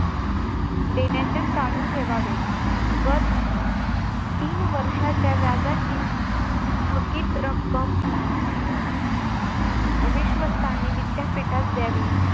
देण्याचे चालू ठेवावे गत तीन वर्षाच्या व्याजाची थकीत रक्कम विश्वस्ताने विद्यापीठात द्यावी